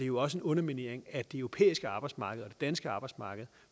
også en underminering af det europæiske arbejdsmarked og danske arbejdsmarked